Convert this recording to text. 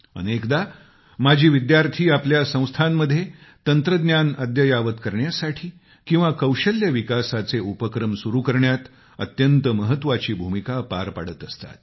अनेकदा माजी विद्यार्थी आपल्या संस्थांमध्ये तंत्रज्ञान अद्ययावत करण्यासाठी किंवा कौशल्य विकासाचे उपक्रम सुरु करण्यात अत्यंत महत्वाची भूमिका पार पडत असतात